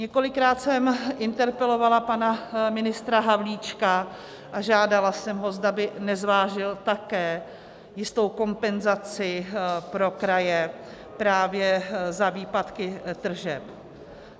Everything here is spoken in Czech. Několikrát jsem interpelovala pana ministra Havlíčka a žádala jsem ho, zda by nezvážil také jistou kompenzaci pro kraje právě za výpadky tržeb.